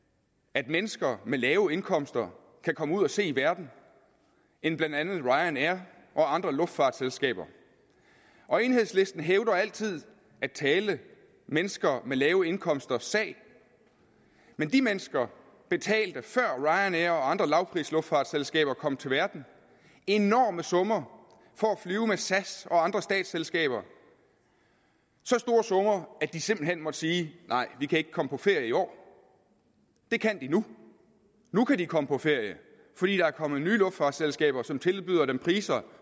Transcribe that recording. at mennesker med lave indkomster kan komme ud og se verden end blandt andet ryanair og andre luftfartsselskaber og enhedslisten hævder altid at tale mennesker med lave indkomsters sag men de mennesker betalte før ryanair og andre lavprisluftfartsselskaber kom til verden enorme summer for at flyve med sas og andre statsselskaber så store summer at de simpelt hen måtte sige nej vi kan ikke komme på ferie i år det kan de nu nu kan de komme på ferie fordi der er kommet nye luftfartsselskaber som tilbyder dem priser